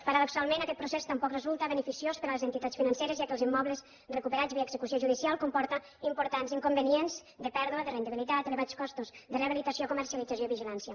paradoxalment aquest procés tampoc resulta beneficiós per a les entitats financeres ja que els immobles recuperats via execució judicial comporten importants inconvenients de pèrdua de rendibilitat elevats costos de rehabilitació comercialització i vigilància